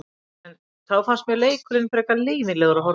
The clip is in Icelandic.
En þá fannst mér leikurinn frekar leiðinlegur að horfa á.